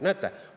Näete!